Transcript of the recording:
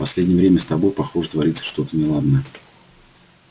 последнее время с тобой похоже творится что-то неладное